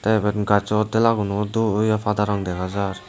te ibot gajo dela guno pada rong dega jar.